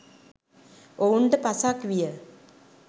ඔවුන්ට පසක් විය.